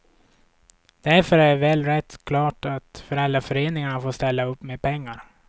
Därför är väl rätt klart att föräldraföreningarna får ställa upp med pengar.